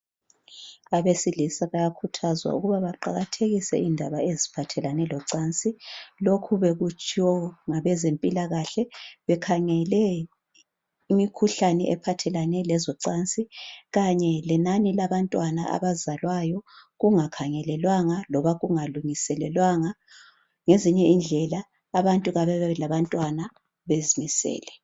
Abesilisa bayakhuthazwa ukuba baqakathekise indaba eziphathelane locansi lokhu bekutshiwo ngabezempilakahle bekhangele imikhuhlane ephathelane lezocansi Kanye lenani labantwana abazalwayo kungakhangelelwanga loba kungalungiselelwanga ngezinye indlela abantu kababe labantwana bezimisele